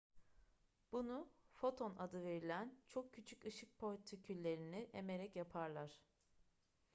bunu foton adı verilen çok küçük ışık partiküllerini emerek yaparlar